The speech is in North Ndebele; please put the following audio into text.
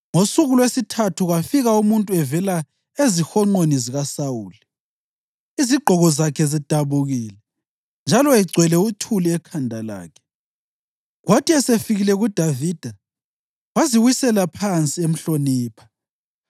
Ngosuku lwesithathu kwafika umuntu evela ezihonqweni zikaSawuli, izigqoko zakhe zidabukile njalo egcwele uthuli ekhanda lakhe. Kwathi esefikile kuDavida waziwisela phansi emhlonipha.